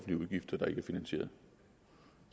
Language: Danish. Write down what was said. det